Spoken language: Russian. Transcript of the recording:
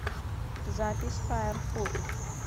запись файр фуд